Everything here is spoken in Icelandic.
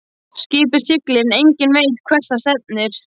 Skipið siglir en enginn veit hvert það stefnir.